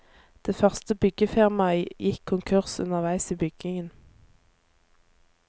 Det første byggefirmaet gikk konkurs underveis i byggingen.